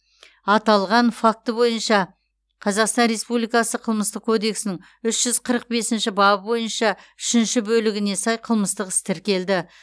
аталған факті бойынша қазақстан республикасы қылмыстық кодексінің үш жүз қырық бесінші бабы бойынша үшінші бөлігіне сай қылмыстық іс тіркелді